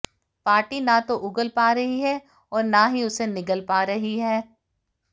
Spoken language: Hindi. पार्टी न तो उगल पा रही है और न ही उसे निगल पा रही है